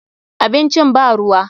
Abincin ba ruwa.